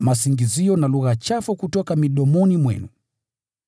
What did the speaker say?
masingizio na lugha chafu kutoka midomoni mwenu.